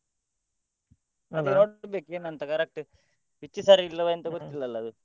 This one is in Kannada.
ಏನಂತ correct pitch ಸರಿ ಇಲ್ಲವ ಎಂತ ಗೊತ್ತಿಲ್ಲ ಅಲ್ಲ ಅದು.